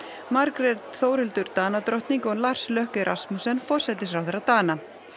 Margrét Þórhildur Danadrottning og Lars Løkke Rasmussen forsætisráðherra Dana